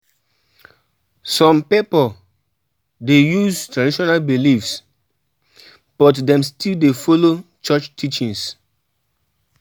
Some pipo dey use traditional beliefs, but dem still dey follow church teachings.